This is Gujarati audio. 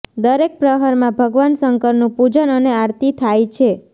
દરેક પ્રહરમાં ભગવાન શંકરનુ પૂજન અને આરતી થાય છે